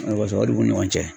O de kosɔn o de b'u ni ɲɔgɔn cɛ.